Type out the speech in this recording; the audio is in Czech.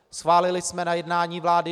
Schválili jsme na jednání vlády